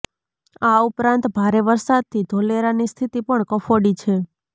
આ ઉપરાંત ભારે વરસાદથી ધોલેરાની સ્થિતિ પણ કફોડી છે